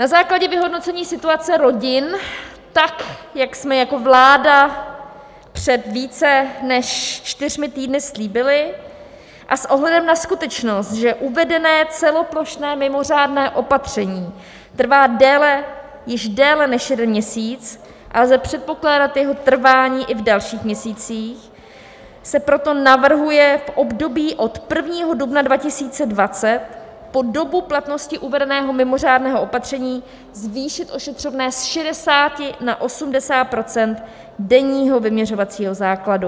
Na základě vyhodnocení situace rodin, tak jak jsme jako vláda před více než čtyřmi týdny slíbili, a s ohledem na skutečnost, že uvedené celoplošné mimořádné opatření trvá již déle než jeden měsíc a lze předpokládat jeho trvání i v dalších měsících, se proto navrhuje v období od 1. dubna 2020 po dobu platnosti uvedeného mimořádného opatření zvýšit ošetřovné z 60 na 80 % denního vyměřovacího základu.